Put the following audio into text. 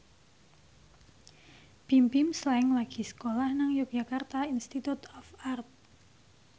Bimbim Slank lagi sekolah nang Yogyakarta Institute of Art